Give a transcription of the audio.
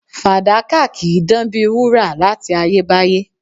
Fàdákà kì í dán bíi wúrà láti ayébáyé